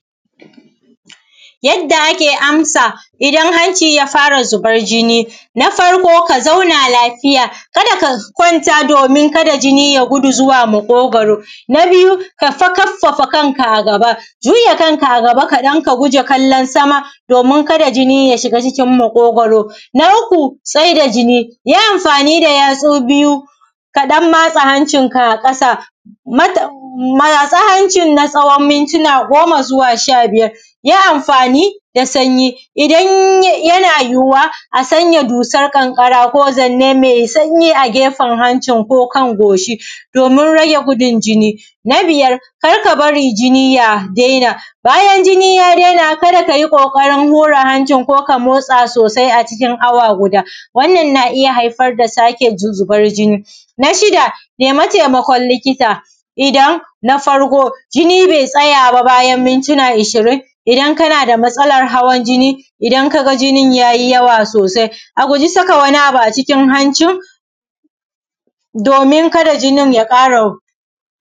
Yadda ake amsa idan hanci ya fara zuban jini. Na farko ka zauna lafiya, ka da ka kwanta doomin kada jini ya gudu zuwa maƙogwaro. Na biyu kafa kaffafa kanka a gaba, juya kanka a gaba kaɗan ka guje kallon sama doomin kada jini ya shiga cikin maƙogwaro. Na uku tsaida jini, yi amafani da yatsu biyu ka ɗan matsa hancinka a ƙasa, matsa hancin na tsawon mintuna goma zuwa sha-biyar. Yi amfaani da sanyi, idan yana yiwuwa a sanya dusan ƙanƙara ko zanne mai sanyi a gefen hancin ko kan goshi doomin rage gudun jini. Na biyar kar ka bari jini ya daina, bayan jini ya daina kar ka yi ƙooƙarin hura hancin ko ka mootsa soosai acikin awa guda, wannan naa iya haifar da sake zubar jini. Na shida nemi taimakon likita idan, na farko jini bai tsaya ba bayan mintuna ashirin, idan kana da matsalar hawan jini idan kaga jinin ya ji yawa soosai, a guji saka wani abu acikin hancin doomin kada jinin ya ƙara.